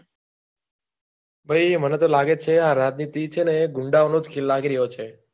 ભઈ મને તો લાગે છે આ રાજનીતિ છે ને ગુંડાઓનો ખેલ લાગી રહ્યો છે.